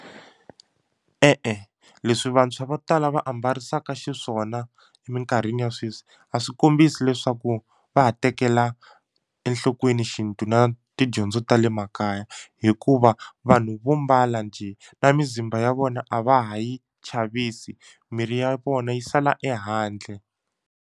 E-e leswi vantshwa vo tala va ambarisaka xiswona minkarhini ya sweswi a swi kombisi leswaku va ha tekela enhlokweni xintu na tidyondzo ta le makaya hikuva vanhu vo mbala njhe na mizimba ya vona a va ha yi chavisi miri ya vona yi sala ehandle.